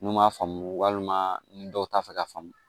N'u m'a faamu walima ni dɔw t'a fɛ ka faamu